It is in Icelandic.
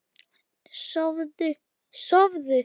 Sofðu, sofðu!